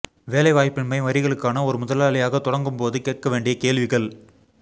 வேலைவாய்ப்பின்மை வரிகளுக்கான ஒரு முதலாளியாகத் தொடங்கும் போது கேட்க வேண்டிய கேள்விகள்